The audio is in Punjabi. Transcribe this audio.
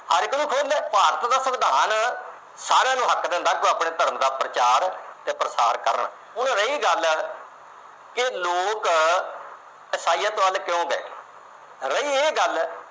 ਹਰ ਇੱਕ ਨੂੰ ਖੁੱਲ੍ਹ ਏ ਭਾਰਤ ਦਾ ਸੰਵਿਧਾਨ ਸਾਰਿਆਂ ਨੂੰ ਹੱਕ ਦਿੰਦਾ ਕਿ ਉਹ ਆਪਣੇ ਧਰਮ ਦਾ ਪ੍ਰਚਾਰ ਤੇ ਪ੍ਰਸਾਰ ਕਰਨ। ਹੁਣ ਰਹੀ ਗੱਲ ਕਿ ਲੋਕ ਈਸਾਈਅਤ ਵੱਲ ਕਿਉਂ ਗਏ। ਰਹੀ ਇਹ ਗੱਲ